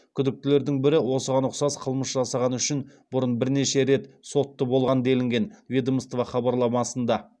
күдіктілердің бірі осыған ұқсас қылмыс жасағаны үшін бұрын бірнеше рет сотты болған делінген ведомство хабарламасында